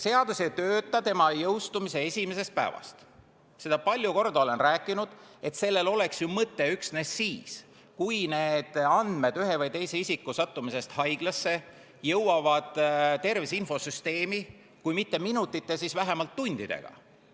Seda olen ma palju kordi rääkinud, et sellel oleks mõte ju üksnes siis, kui andmed ühe või teise isiku haiglasse sattumise kohta jõuavad tervise infosüsteemi kui mitte minutite, siis vähemalt tundidega.